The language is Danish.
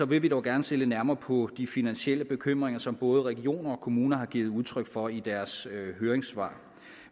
vil vi dog gerne se lidt nærmere på de finansielle bekymringer som både regioner og kommuner har givet udtryk for i deres høringssvar